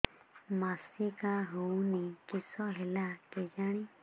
ମାସିକା ହଉନି କିଶ ହେଲା କେଜାଣି